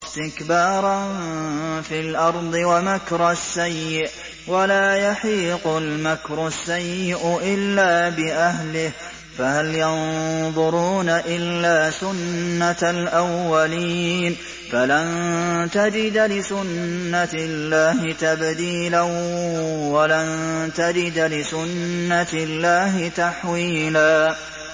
اسْتِكْبَارًا فِي الْأَرْضِ وَمَكْرَ السَّيِّئِ ۚ وَلَا يَحِيقُ الْمَكْرُ السَّيِّئُ إِلَّا بِأَهْلِهِ ۚ فَهَلْ يَنظُرُونَ إِلَّا سُنَّتَ الْأَوَّلِينَ ۚ فَلَن تَجِدَ لِسُنَّتِ اللَّهِ تَبْدِيلًا ۖ وَلَن تَجِدَ لِسُنَّتِ اللَّهِ تَحْوِيلًا